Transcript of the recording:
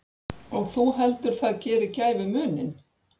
Og þú heldur það geri gæfumuninn?